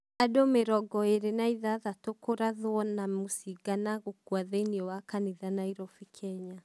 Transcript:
Andũ mirongo ĩĩri na ithathatĩ kũrathwo na mũcinga na gukũa thĩinĩ wa kanitha Nairovi Kenya.